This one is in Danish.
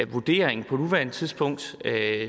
vurdering på nuværende tidspunkt er